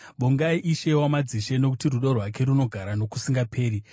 Vongai Ishe wamadzishe: Nokuti rudo rwake runogara nokusingaperi.